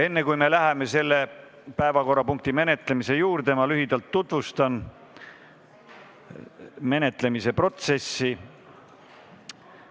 Enne, kui me selle päevakorrapunkti menetlemise juurde läheme, tutvustan ma lühidalt menetlemise protseduuri.